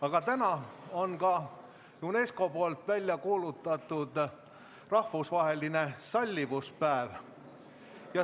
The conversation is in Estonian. Aga täna on ka UNESCO välja kuulutatud rahvusvaheline sallivuspäev.